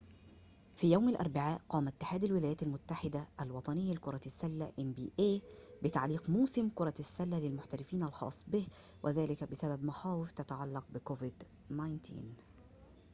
في يوم الأربعاء قام اتحاد الولايات المتحدة الوطني لكرة السلة إن بي إيه بتعليق موسم كرة السلة للمحترفين الخاص به وذلك بسبب مخاوفٍ تتعلق بكوفيد-19